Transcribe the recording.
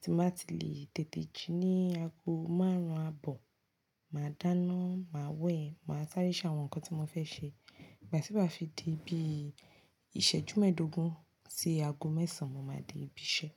Tí mo bá ti lè tètè jí ní ago márùn-ún àbọ̀, màá dáná, màá wẹ̀, màá sáré ṣàwọn nǹkan tí mo fẹ́ ṣe. Ìgbà tí n bá fi dii bí ìṣẹ́jú mẹ́ẹ̀dógún sí ago mẹ́sàn, mo máa dé ibi iṣẹ́.